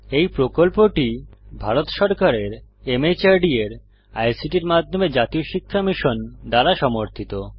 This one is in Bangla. এই প্রকল্পটি ভারত সরকারের মাহর্দ এর আইসিটির মাধ্যমে জাতীয় শিক্ষা মিশন দ্বারা সমর্থিত